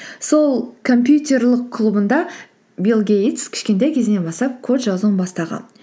сол компьютерлік клубында билл гейтс кішкентай кезінен бастап код жазуын бастаған